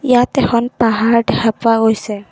ইয়াত এখন পাহাৰ দেখা পোৱা গৈছে।